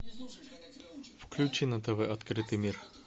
включи на тв открытый мир